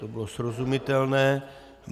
To bylo srozumitelné.